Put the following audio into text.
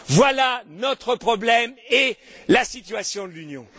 Voilà notre problème et la situation de l'Union.